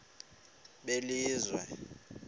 belizwe